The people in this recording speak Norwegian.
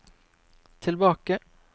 tilbake